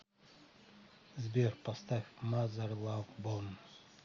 сбер поставь мазер лав бон